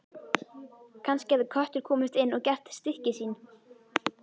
Kannski hafði köttur komist inn og gert stykki sín.